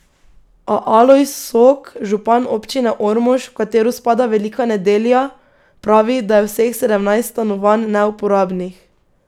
A Alojz Sok, župan občine Ormož, v katero spada Velika Nedelja, pravi, da je vseh sedem stanovanj neuporabnih.